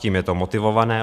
Tím je to motivované.